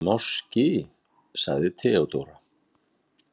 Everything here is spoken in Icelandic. Máski, sagði Theodóra.